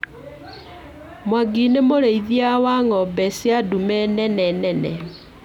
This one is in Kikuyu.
Mwangi nĩ mũrĩithia wa ng'ombe cia ndume nene nene